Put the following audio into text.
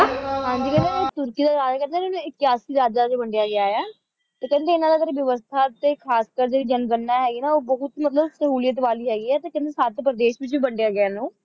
ਹਾਂ ਜੀ ਕਹਿੰਦੇ ਤੁਰਕੀ ਦਾ ਰਾਜ ਇਨ੍ਹਾਂਨੂੰ ਇਕਿਆਸੀ ਰਾਜਾਂ ਵਿੱਚ ਵੰਡਿਆ ਗਿਆ ਹੈ ਤੇ ਕਹਿੰਦੇ ਇਨ੍ਹਾਂ ਦੀ ਵਿਵਸਥਾ ਤੇ ਖ਼ਾਸਕਰ ਜਿਹੜੀ ਜਨਗਣਨਾ ਹੈਗੀ ਹੈ ਉਹ ਬਹੁਤ ਮਤਲਬ ਸਹੂਲੀਅਤ ਵਾਲੀ ਹੈਗੀ ਹੈ ਤੇ ਕਹਿੰਦੇ ਸੱਤ ਪ੍ਰਦੇਸ਼ ਵਿੱਚ ਵੀ ਵੰਡਿਆ ਗਿਆ ਇਹਨੂੰ